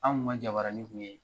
An tun ka jabaranin tun ye